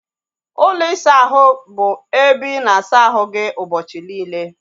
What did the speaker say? Ụlọ isa ahụ bụ ebe ị na-asa ahu gị ụbọchị niile